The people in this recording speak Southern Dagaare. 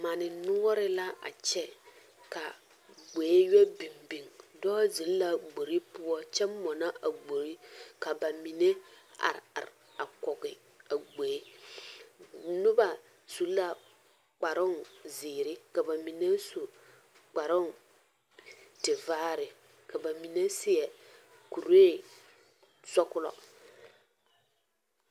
Mane noɔre la a kyɛ ka ɡboe yɔ biŋ biŋ dɔɔ zeŋ la a ɡbor poɔ kyɛ mɔnɔ a ɡbor ka ba mine a are are kɔɡe a ɡboe noba su la kparoŋ ziiri ka ba mine kparoŋ tevaare ka ba mine seɛ kuree sɔɡelɔ.